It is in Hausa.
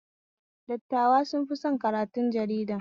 Dattawa sun fi son karatun jarida